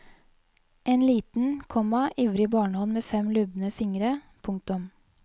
En liten, komma ivrig barnehånd med fem lubne fingre. punktum